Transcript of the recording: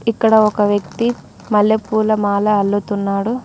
ఇక్కడ ఒక వ్యక్తి మల్లెపూల మాల అల్లుతున్నాడు.